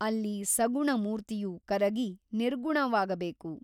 ಅಲ್ಲಿ ಸಗುಣ ಮೂರ್ತಿಯು ಕರಗಿ ನಿರ್ಗುಣವಾಗಬೇಕು.